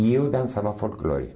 E eu dançava folclore.